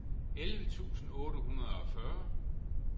elleve tusind otte hundrede og fyrre